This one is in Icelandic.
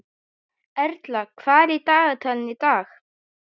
Erla, hvað er í dagatalinu í dag?